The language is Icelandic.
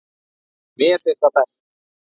Mér finnst það best.